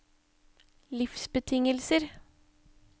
livsbetingelser